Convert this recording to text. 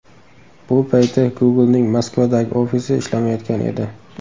Bu payti Google’ning Moskvadagi ofisi ishlamayotgan edi.